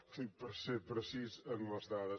ho dic per ser precís en les dades